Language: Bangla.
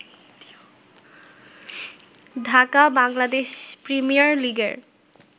ঢাকা বাংলাদেশ প্রিমিয়ার লিগের